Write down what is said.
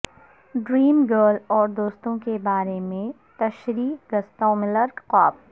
dream girl اور دوستوں کے بارے میں تشریح گستاو ملر خواب